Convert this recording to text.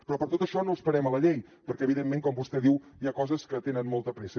però per tot això no esperem la llei perquè evidentment com vostè diu hi ha coses que tenen molta pressa